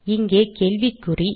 இங்கே கேள்விக்குறி